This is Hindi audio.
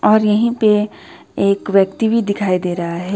और यहीं पे एक व्यक्ति भी दिखाई दे रहा है।